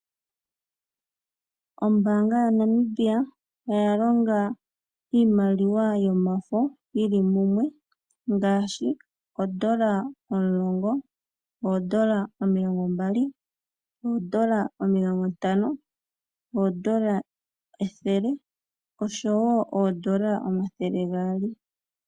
Ombaanga yaNamibia oyalonga iimaliwa yomafo yili mumwe, ngaashi oondola omulongo, oondola omilongo mbali, oondola omilongo ntano, oondola ethele, noshowo oondola omathele gaali.